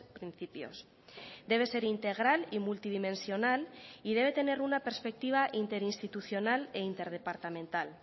principios debe ser integral y multidimensional y debe tener una perspectiva interinstitucional e interdepartamental